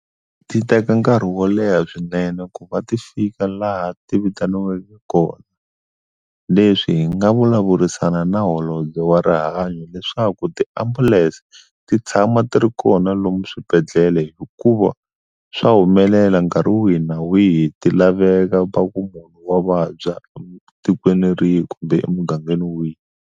Ti teka nkarhi wo leha swinene ku va ti fika laha ti vitaniwaka kona leswi hi nga vulavurisana na holobye wa rihanyo leswaku tiambulense ti tshama ti ri kona lomu swibedhlele hikuva swa humelela nkarhi wihi na wihi ti laveka va ku munhu wa vabya tikweni rihi kumbe emugangeni wihi.